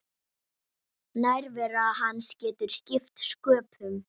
Nærvera hans getur skipt sköpum.